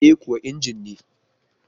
E kuwa, injin ne